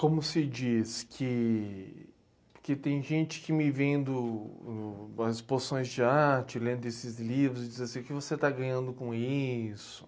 Como se diz que tem gente que que me vendo nas exposições de arte, lendo esses livros, e diz assim, o que você está ganhando com isso?